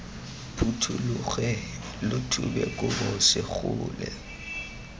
phuthologe lo thube kobo segole